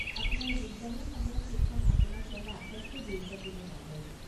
আপোনাৰ যোগদানৰ সময়ত সেইখন আপোনাক লগা আটাইতকৈ গুৰুত্বপূৰ্ণ কাগজ।